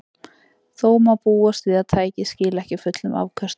Þó má búast við að tækið skili ekki fullum afköstum.